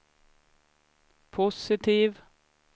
positiv